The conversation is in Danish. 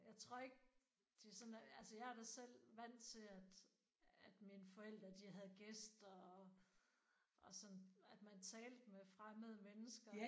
Jeg tror ikke de sådan er altså jeg er da selv vant til at at mine forældre de havde gæster og og sådan at man talte med fremmede mennesker